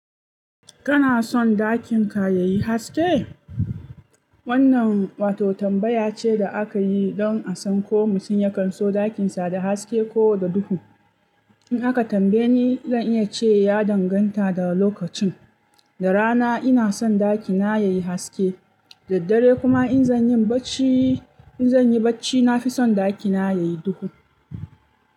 Kana son dakin ka yayi haske? Wannan wato tambaya ce da aka yi don a san ko mutum ya kanso ɗakin sa da haske ko da duhu. In aka tambaye ni, zan iya ce ya danganta da lokacin. Da rana ina son ɗakina yayi haske, da dare kuma in zan yi barci, in zan yi barci nafi son ɗakina yayi duhu,